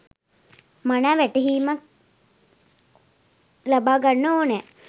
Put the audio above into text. මනා වැටහීමක් ලබා ගන්න ඕනෙ